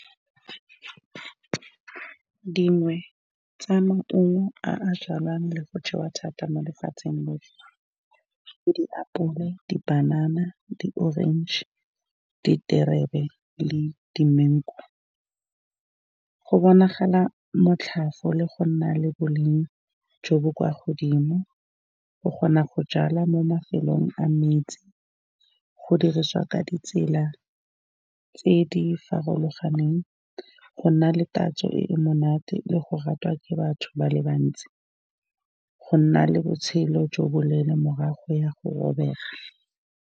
Dingwe tsa maungo a a jalwang le go jewa thata mo lefatsheng ke ditapole, dipanana, di-orange, diterebe le di-mengo. Go bonagala motlhofo le go nna le boleng jo bo kwa godimo. O kgona go jala mo mafelong a metsi, go dirisiwa ka ditsela tse di farologaneng, go nna le tatso e e monate le go ratwa ke batho ba le bantsi, go nna le botshelo jo bo leele morago ga go robega.